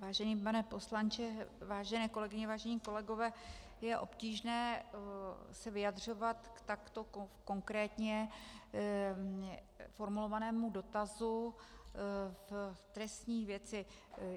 Vážený pane poslanče, vážené kolegyně, vážení kolegové, je obtížné se vyjadřovat k takto konkrétně formulovanému dotazu v trestní věci.